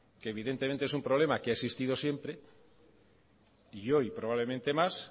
evidentemente es un problema que ha existido siempre y hoy probablemente más